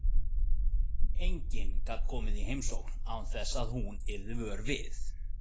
Enginn gat komið í heimsókn án þess að hún yrði vör við.